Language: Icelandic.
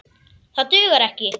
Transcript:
Það dugar ekki.